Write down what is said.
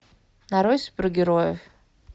нарой супергероев